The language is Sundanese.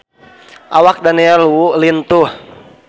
Awak Daniel Wu lintuh